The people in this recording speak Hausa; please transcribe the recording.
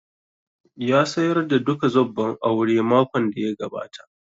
Ya sayarda duka zobban aure makon da ya gabata